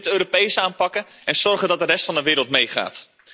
We moeten dit Europees aanpakken en zorgen dat de rest van de wereld meegaat.